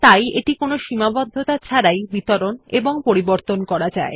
তাই এটি কোনো সীমাবদ্ধতা ছাড়াই বিতরণ এবং পরিবর্তন করা যায়